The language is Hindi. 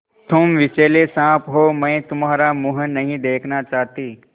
तुम विषैले साँप हो मैं तुम्हारा मुँह नहीं देखना चाहती